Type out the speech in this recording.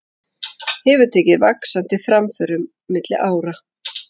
Hefur tekið vaxandi framförum milli ára.